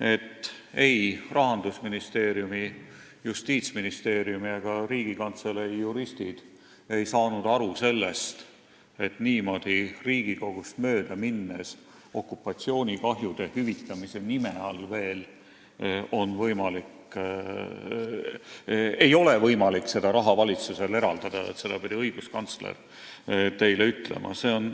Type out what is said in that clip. et ei Rahandusministeeriumi, Justiitsministeeriumi ega Riigikantselei juristid ei saanud aru, et niimoodi Riigikogust mööda minnes ja veel okupatsioonikahjude hüvitamise nime all ei ole võimalik valitsusel seda raha eraldada, ning seda pidi õiguskantsler teile ütlema.